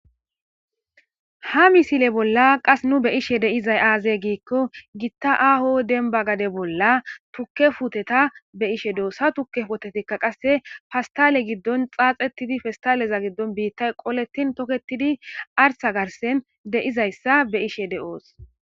ha misile bolla qas nu be'ishe de'izay aaze giikko gitta aho denba gade bolla tukke puteta be ishe do'os, ha tukke potetikka qasse fastale giddon xaaxettidi festaleza giddon biittay qoletin toketidi arsa garsen de'izaysa be'ishe de'os.